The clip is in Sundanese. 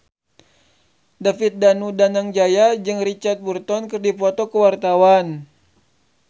David Danu Danangjaya jeung Richard Burton keur dipoto ku wartawan